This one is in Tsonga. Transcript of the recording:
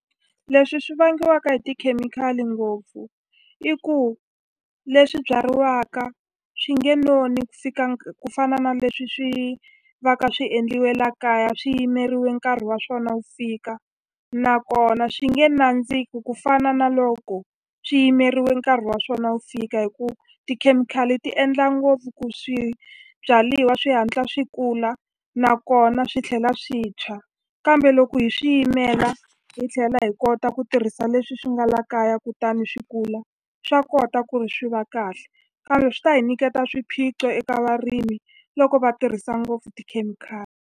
Leswi swi vangiwaka hi tikhemikhali ngopfu i ku leswi byariwaka swi nge noni ku fika ku fana na leswi swi va ka swi endliwe la kaya swi yimeriwe nkarhi wa swona wu fika nakona swi nge nandziki ku fana na loko swi yimeriwe nkarhi wa swona wu fika hi ku tikhemikhali ti endla ngopfu ku swibyaliwa swi hatla swi kula nakona swi tlhela swi tshwa kambe loko hi swi yimela hi tlhela hi kota ku tirhisa leswi swi nga la kaya kutani swi kula swa kota ku ri swi va kahle kambe swi ta hi nyiketa swiphiqo eka varimi loko va tirhisa ngopfu tikhemikhali.